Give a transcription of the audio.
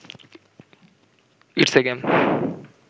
it's a game